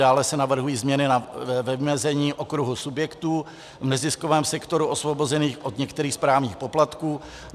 Dále se navrhují změny ve vymezení okruhu subjektů v neziskovém sektoru osvobozených od některých správních poplatků.